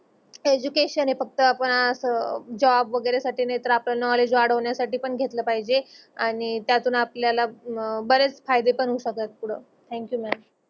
Education हे फक्त आपण अस जॉब वगेरे साटी नाही तर आपण नोवलेड्ज वाडवन्या साटी पण घेतलं पाहिजे. आणि त्यातून आपल्याल बरेच फायदे पण होऊ शकत फूड. Thank you madam